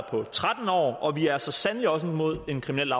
på tretten år og vi er så sandelig også imod en kriminel